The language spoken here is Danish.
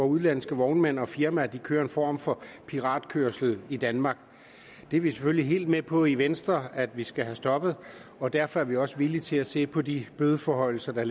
udenlandske vognmænd og firmaer kører en form for piratkørsel i danmark det er vi selvfølgelig helt med på i venstre at vi skal have stoppet og derfor er vi også villige til at se på de bødeforhøjelser der